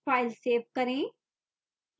file save करें